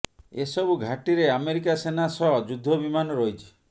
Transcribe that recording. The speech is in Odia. ସେସବୁ ଘାଟିରେ ଆମେରିକା ସେନା ସହ ଯୁଦ୍ଧ ବିମାନ ରହିଛି